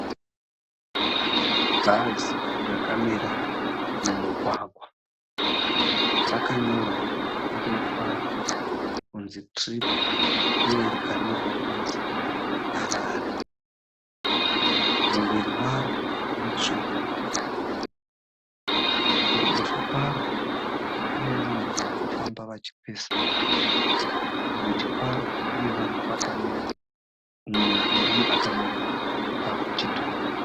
Bhazi rakamira mumugwagwa. Rakanyorwa kumberi kwaro kunzi tiripi uye rakanyorwa kunzi Harare. Muviri waro mutsvuku, kuruboshwe kwaro kunevanhu varikufamba vachioesana. Kurudyi kwaro kune vanhuwo vakamira, mumwe murume akamira pachitoro.